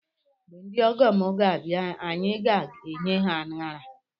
Mgbe ndị ọgọ m ga abịa anyị ga enye ha anara